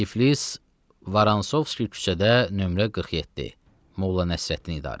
Tiflis, Varansovski küçədə nömrə 47, Moğla Nəsrəddin idarəsi.